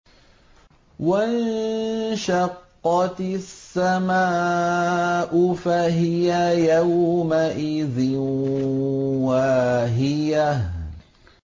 وَانشَقَّتِ السَّمَاءُ فَهِيَ يَوْمَئِذٍ وَاهِيَةٌ